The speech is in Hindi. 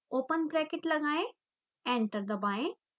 ओपन ब्रैकेट लगाएं एंटर दबाएं